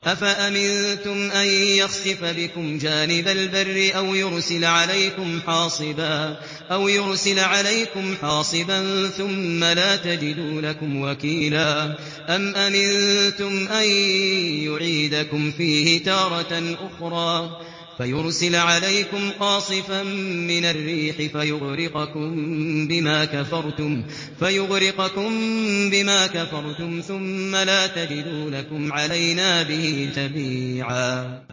أَفَأَمِنتُمْ أَن يَخْسِفَ بِكُمْ جَانِبَ الْبَرِّ أَوْ يُرْسِلَ عَلَيْكُمْ حَاصِبًا ثُمَّ لَا تَجِدُوا لَكُمْ وَكِيلًا